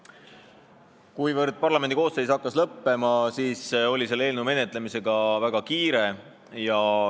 Kuivõrd parlamendikoosseisu tööaeg hakkas lõppema, siis oli selle eelnõu menetlemisega väga kiire.